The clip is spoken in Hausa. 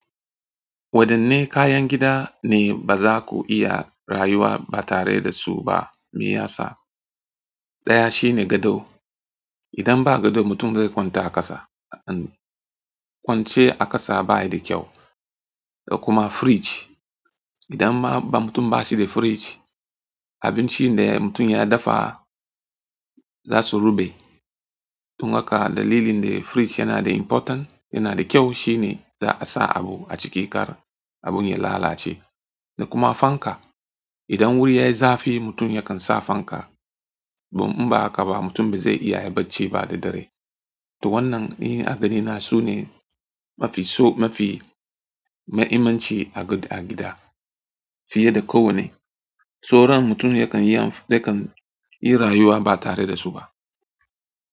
Wadanne kayan gida ne ba za ku iya rayuwa ba tare da su ba? Me yasa? Ɗaya shine gado. Idan ba gado mutum zai kwanta a ƙasa. Kwance a ƙasa ba yi da kyau. Kuma firiji. Idan ma mutum ba shi da firiji, abinci da mutum ya dafa za su ruɓe. Dun haka dalilin da firiji yana da important, yana da kyau shine za a sa abu a ciki kar abin ya lalace. Kuma fanka. Idan wuri yayi zafi mutum yakan sa fanka. In ba haka ba mutum ba zai iya yi bacci ba da dare. To wannan, ni a ganina sune mafi so mafi mahimmanci agida, fiye da ko wanne to ran mutum yakan yi, yakan yi rayuwa ba tare da su ba.